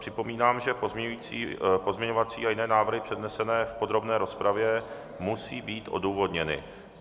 Připomínám, že pozměňovací a jiné návrhy přednesené v podrobné rozpravě musí být odůvodněny.